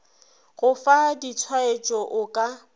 go fa ditshwaetšo o ka